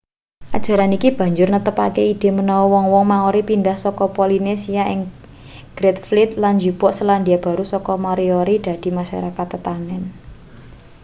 ajaran iki banjur netepake ide manawa wong-wong maori pindah saka polinesia ing great fleet lan njupuk selandia baru saka moriori dadi masarakat tetanen